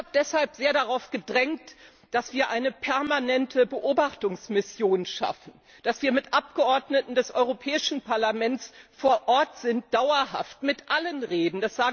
Ich habe deshalb sehr darauf gedrängt, dass wir eine permanente Beobachtungsmission schaffen, dass wir mit Abgeordneten des Europäischen Parlaments dauerhaft vor Ort sind, mit allen reden.